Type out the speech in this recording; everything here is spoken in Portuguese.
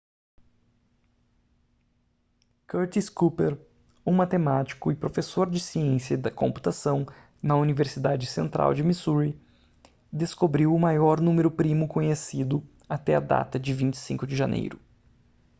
curtis cooper um matemático e professor de ciência da computação na universidade central de missouri descobriu o maior número primo conhecido até a data de 25 de janeiro